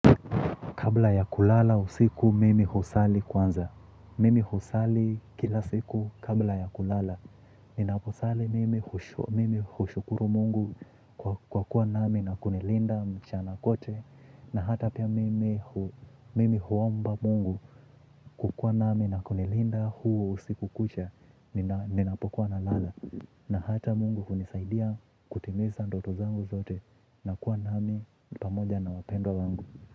Kabla ya kulala usiku mimi husali kwanza. Mimi husali kila siku kabla ya kulala. Ninaposali mimi hushukuru mungu kwa kuwa nami na kunilinda mchana kwote. Na hata pia mimi huomba mungu kukuwa nami na kunilinda huo usiku kucha. Ninapokuwa na lala. Na hata mungu kunisaidia kutimiza ndoto zangu zote. Na kuwa nami pamoja na wapendwa wangu.